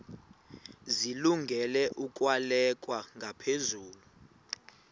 zilungele ukwalekwa ngaphezulu